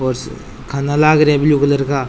खाना लाग रा है ब्लू कलर का।